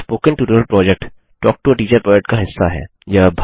spoken tutorial project talk to a teacher project का हिस्सा है